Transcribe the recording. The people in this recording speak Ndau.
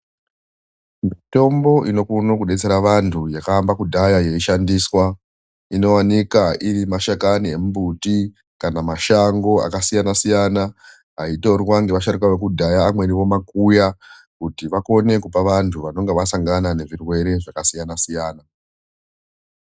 Mitombo inokone kudetsera vantu yakaamba kudhaya yeyi shandiswa inowanikwa iri mashakani emimbuti kana mashango akasiyana siyana aitorwa ngeva sharuka yekudhaya amweni vomakuya kuti vakone vantu vanenge vasangana nezvirwere zvakasiyana siyana.